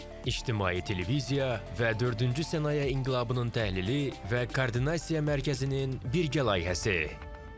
İctimai Televiziya və dördüncü sənaye inqilabının təhlili və koordinasiya mərkəzinin birgə layihəsi.